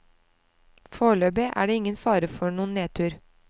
Foreløpig er det ingen fare for noen nedtur.